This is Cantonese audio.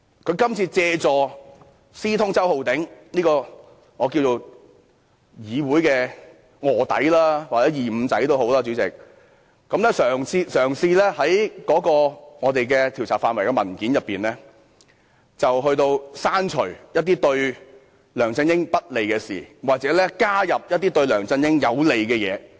他這次借助私通周浩鼎議員這個議會的臥底或"二五仔"，嘗試在有關調查範圍的文件中，刪除一些對梁振英不利的表述，加入一些對梁振英有利的表述。